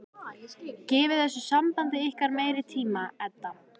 Gefið þessu sambandi ykkar meiri tíma, Edda.